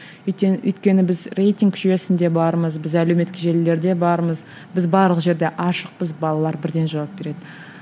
өйткені біз рейтинг жүйесінде бармыз біз әлеуметтік желілерде бармыз біз барлық жерде ашықпыз балалар бірден жауап береді